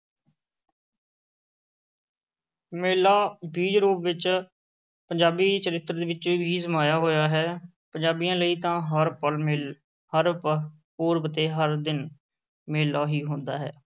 ਮੇਲਾ ਬੀਜ-ਰੂਪ ਵਿੱਚ ਪੰਜਾਬੀ ਚਰਿੱਤਰ ਵਿੱਚ ਵੀ ਸਮਾਇਆ ਹੋਇਆ ਹੈ, ਪੰਜਾਬੀਆਂ ਲਈ ਤਾਂ ਹਰ ਪਲ ਮੇਲ~ ਹਰ ਪ~ ਪੁਰਬ ਤੇ ਹਰ ਦਿਨ ਮੇਲਾ ਹੀ ਹੁੰਦਾ ਹੈ।